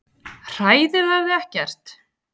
Hræðir það þig ekkert?